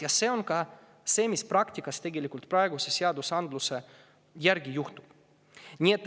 Ja nii tegelikult praktikas praeguse seaduse järgi tehaksegi.